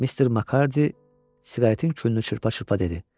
Mister Makarddi siqaretin külünü çırpa-çırpa dedi.